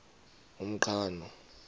umqhano